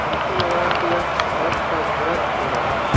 हमको लग रहा है कि यह छट का व्रत हो रहा है।